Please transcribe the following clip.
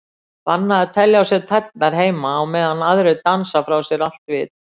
Bannað að telja á sér tærnar heima á meðan aðrir dansa frá sér allt vit.